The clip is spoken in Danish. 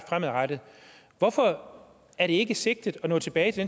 fremadrettet hvorfor er det ikke sigtet at nå tilbage til